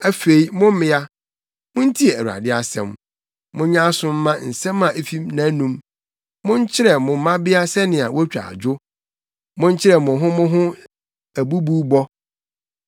Afei, mo mmea, muntie Awurade asɛm; monyɛ aso mma nsɛm a efi nʼanom. Monkyerɛ mo mmabea sɛnea wotwa dwo; monkyerɛ mo ho mo ho abubuwbɔ.